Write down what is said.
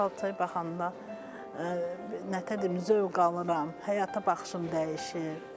Xalçaya baxanda nəətər deyim, zövq alıram, həyata baxışım dəyişir.